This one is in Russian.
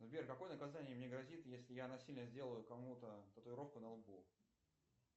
сбер какое наказание мне грозит если я насильно сделаю кому то татуировку на лбу